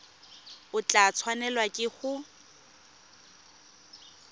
o tla tshwanelwa ke go